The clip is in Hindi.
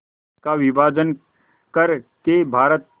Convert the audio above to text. का विभाजन कर के भारत